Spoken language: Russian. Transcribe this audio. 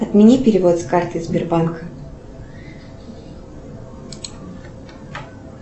отмени перевод с карты сбербанка